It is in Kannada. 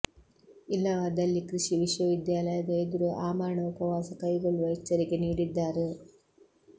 ಇಲ್ಲವಾದಲ್ಲಿ ಕೃಷಿ ವಿಶ್ವವಿದ್ಯಾಲಯದ ಎದುರು ಆಮರಣ ಉಪವಾಸ ಕೈಗೊಳ್ಳುವ ಎಚ್ಚರಿಕೆ ನೀಡಿದ್ದಾರೆ